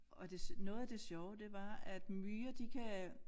Og det noget af det sjove det var at myrer de kan